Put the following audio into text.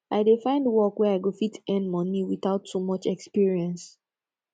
i dey find work wey i go fit earn money witout too much experience